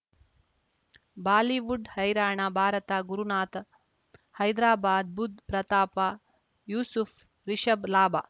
Bollywood ಹೈರಾಣ ಭಾರತ ಗುರುನಾಥ್ ಹೈದರಾಬಾದ್ ಬುಧ್ ಪ್ರತಾಪ ಯೂಸುಫ್ ರಿಷಬ್ ಲಾಭ